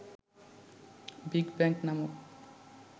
big bang নামক